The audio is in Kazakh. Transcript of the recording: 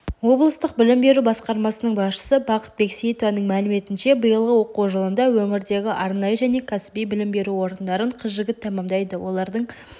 облыстық білім беру басқармасының басшысы бақыт бексейітованың мәліметінше биылғы оқу жылында өңірдегі арнайы және кәсіби білім беру орындарын қыз-жігіт тәмамдайды олардың